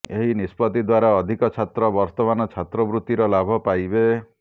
ଏହି ନିଷ୍ପତ୍ତି ଦ୍ବାରା ଅଧିକ ଛାତ୍ର ବର୍ତ୍ତମାନ ଛାତ୍ରବୃତ୍ତିର ଲାଭ ପାଇବେ